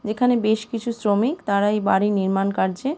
এখানে বেশ কিছু শ্রমিক তারাই বাড়ির নির্মাণ কার্যে-এ--